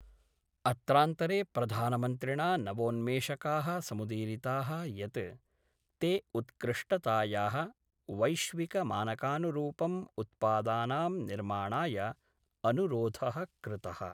अत्रांतरे प्रधानमन्त्रिणा नवोन्मेषका: समुदीरिता: यत् ते उत्कृष्टताया: वैश्विकमानकानुरूपं उत्पादानां निर्माणाय अनुरोध: कृत:।